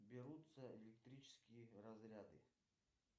берутся электрические разряды